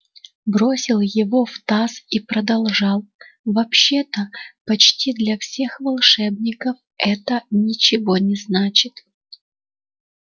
бросил его в таз и продолжал вообще-то почти для всех волшебников это ничего не значит